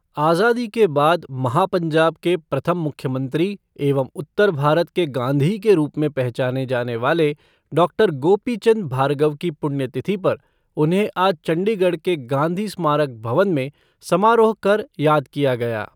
आजादी के बाद महापंजाब के प्रथम मुख्यमंत्री एंव उत्तर भारत के गाँधी के रूप मे पहचाने जाने वाले डॉक्टर गोपीचन्द भार्गव की पुण्यतिथि पर उन्हें आज चंडीगढ़ के गाँधी स्मारक भवन में समारोह कर, याद किया गया।